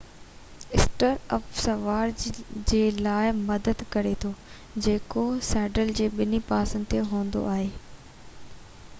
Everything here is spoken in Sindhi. اسٽر اپ سوار جي لاءِ مدد ڪري ٿو جيڪو سيڊل جي ٻني پاسن تي هوندو آهي